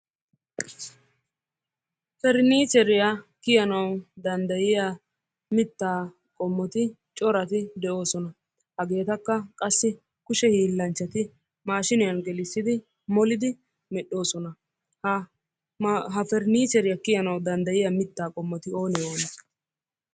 Parniicheriyaa kiyanawu danddayiya mitaa qommoti corati de'oosona. Hageetakka qassi kushe hiilanchati mashiiniyan gelissidi molidi medhoosona. Ha parniicheriya kiyanawu danddayiya mitaa qommoti onee onee?